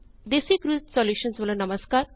DesiCrew solutions ਵੱਲੋ ਨਮਸਕਾਰ